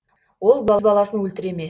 ол баласын өлтіре ме